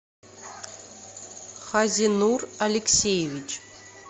хазинур алексеевич